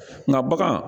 Nka bagan